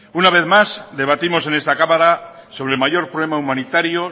una vez más debatimos en esta cámara sobre el mayor problema humanitario